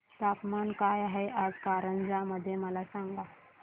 तापमान काय आहे आज कारंजा मध्ये मला सांगा